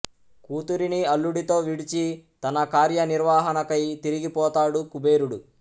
కూతురిని అల్లుడితో విడిచి తన కార్యనిర్వహణకై తిరిగి పోతాడు కుబేరుడు